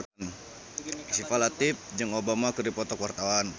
Syifa Latief jeung Obama keur dipoto ku wartawan